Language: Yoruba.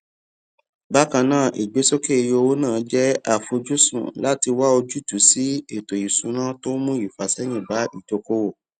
bákan náà ìgbésókè iye owó náà jẹ àfojúsùn láti wá ojútùú sí ètòìṣúná tó mú ìfàsẹyìn bá oùdókòwò